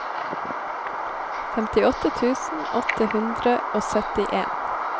femtiåtte tusen åtte hundre og syttien